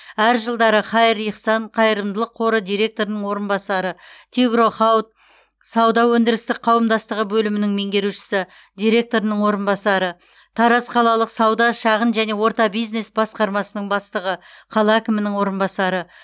әр жылдары хаир ихсан қайырымдылық қоры директорының орынбасары тигро хауд сауда өндірістік қауымдастығы бөлімінің меңгерушісі директорының орынбасары тараз қалалық сауда шағын және орта бизнес басқармасының бастығы қала әкімінің орынбасары